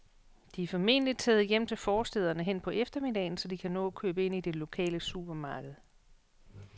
De er formentlig taget hjem til forstæderne hen på eftermiddagen, så de kan nå at købe ind i det lokale supermarked.